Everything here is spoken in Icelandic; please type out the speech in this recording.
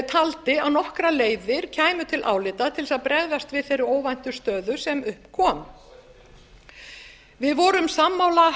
taldi að nokkrar leiðir kæmu til álita til þess að bregðast við þeirri óvæntu stöðu sem upp kom við vorum sammála